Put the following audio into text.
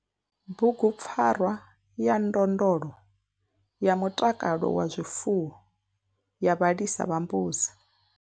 Bugupfarwa ya ndondolo ya mutakalo wa zwifuwo ya vhalisa vha mbudzi.